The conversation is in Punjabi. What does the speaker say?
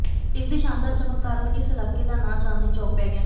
ਇਸ ਦੀ ਸ਼ਾਨਦਾਰ ਚਮਕ ਕਾਰਨ ਇਸ ਇਲਾਕੇ ਦਾ ਨਾਂ ਚਾਂਦਨੀ ਚੌਕ ਪੈ ਗਿਆ